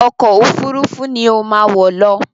Ọkọ òfurufú ni ó má wọ̀ lọ!